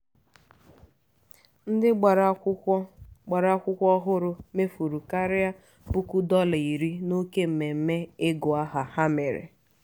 ndị gbara akwụkwọ gbara akwụkwọ ọhụrụ mefuru karịa puku dọla iri n'oke mmemme ịgụ aha ha mere.